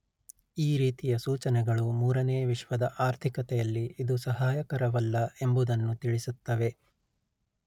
ಈ ರೀತಿಯ ಸೂಚನೆಗಳು ಮೂರನೇ ವಿಶ್ವದ ಆರ್ಥಿಕತೆಯಲ್ಲಿ ಇದು ಸಹಾಯಕರವಲ್ಲ ಎಂಬುದನ್ನು ತಿಳಿಸುತ್ತವೆ